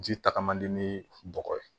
Ji tagama ni bɔgɔ ye